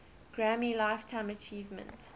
grammy lifetime achievement